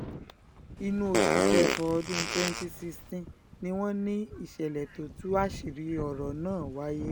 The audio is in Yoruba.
inú oṣù kẹfà ọdún twenty sixteen ni wọ́n ní ìṣẹ̀lẹ̀ tó tú àṣírí ọ̀rọ̀ náà wáyé